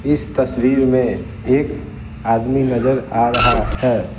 इस तस्वीर में एक आदमी नजर आ रहा है।